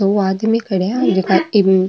दो आदमी खड़िया है जेका की --